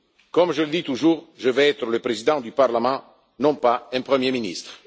Comme je le dis toujours, je veux être le Président du Parlement, non pas un premier ministre.